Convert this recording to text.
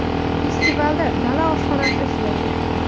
Festivalda dala oshxonasi ishlaydi.